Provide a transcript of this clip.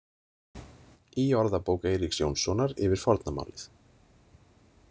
Í orðabók Eiríks Jónssonar yfir forna málið.